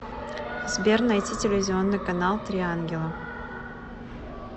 сбер найти телевизионный канал три ангела